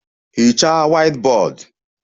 Hichaa whiteboard!